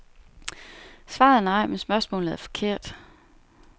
Svaret er nej, men spørgsmålet er forkert.